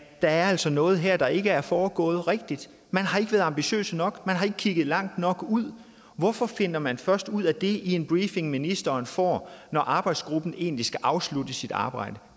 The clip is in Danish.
der altså er noget her der ikke er foregået rigtigt man har ikke været ambitiøse nok man har ikke kigget langt nok ud hvorfor finder man først ud af det i en briefing ministeren får når arbejdsgruppen egentlig skal afslutte sit arbejde